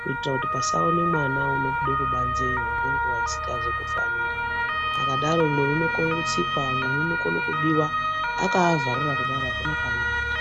kuitira kuti pasaone mwana unobude kubanzeyo ngekuwa isangazi kufanira akadaro umwe unokone kutsikwa umwe unokone kubiwa akavharira kudaro akuna kwanoenda.